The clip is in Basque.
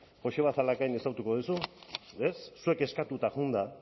joseba zalakain ezagutuko duzu ez zuek eskatuta joan da